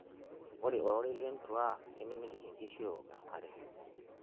ore ororei lentua nimemitiki nkishu eok enkare